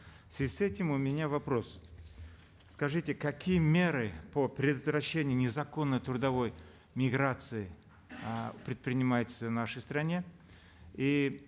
в связи с этим у меня вопрос скажите какие меры по предотвращению незаконной трудовой миграции э предпринимаются в нашей стране и